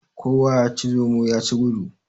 Kowa yaci zomo yaci gudu.